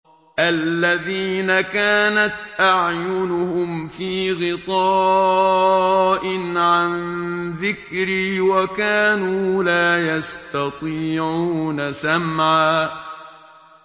الَّذِينَ كَانَتْ أَعْيُنُهُمْ فِي غِطَاءٍ عَن ذِكْرِي وَكَانُوا لَا يَسْتَطِيعُونَ سَمْعًا